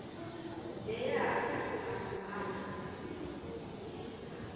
leyo okungathi ukuhamba